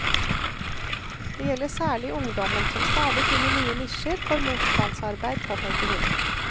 Det gjelder særlig ungdommen, som stadig finner nye nisjer for motstandsarbeid, påpeker hun.